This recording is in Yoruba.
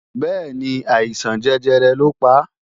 Bẹ́ẹ̀ni, àìsàn jẹjẹrẹ lọ pa